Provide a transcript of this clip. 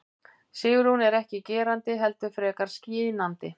Sigrún er ekki gerandi heldur frekar skynjandi.